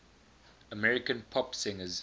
american pop singers